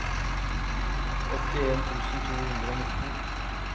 åttien tusen to hundre og nitten